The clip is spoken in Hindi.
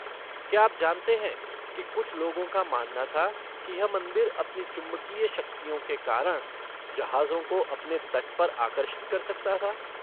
क्या आप जानते हैं कि कुछ लोगों का मानना था कि यह मंदिर अपनी चुंबकीय शक्तियों के कारण जहाजों को अपने तट पर आकर्षित कर सकता था?